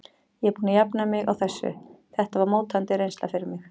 Ég er búinn að jafna mig á þessu, þetta var mótandi reynsla fyrir mig.